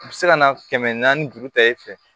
U bɛ se ka na kɛmɛ naani juru ta i fɛ